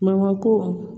Mangoro ko